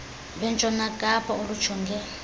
lwentshona kapa olujongene